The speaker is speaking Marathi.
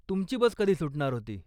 तुमची बस कधी सुटणार होती?